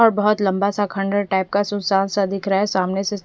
और बोहोत लम्बा सा खण्डहर टाइप का सुनशान सा दिख रहा है सामने से--